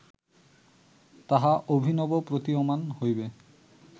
তাহা অভিনব প্রতীয়মান হইবে